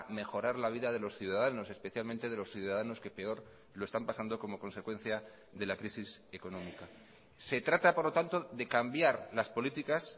mejorar la vida de los ciudadanos especialmente de los ciudadanos que peor lo están pasando como consecuencia de la crisis económica se trata por lo tanto de cambiar las políticas